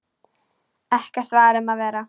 Ekkert var um að vera.